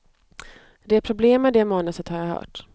Det är problem med det manuset, har jag hört.